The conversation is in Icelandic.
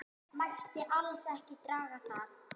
Mætti alls ekki draga það.